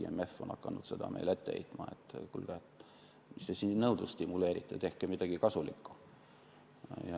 IMF on hakanud seda meile ette heitma, et kuulge, mis te nõudlust stimuleerite, tehke midagi kasulikku.